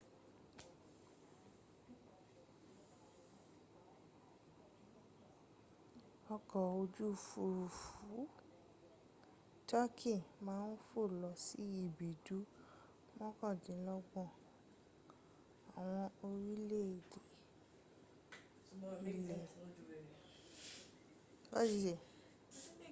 ọkọ̀ ojú òfúrufú turkey ma ń fò lọ sí ibùdó mọ́kàndínlọ́gbọ̀n àwọn orílẹ̀èdè ilẹ̀ adúláwọ̀ ọgbọ̀n ní bí i ọdún 2014